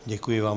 Děkuji vám.